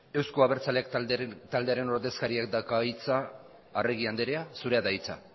euzko abertzaleak taldearen ordezkariak dauka hitza arregi anderea zurea da hitza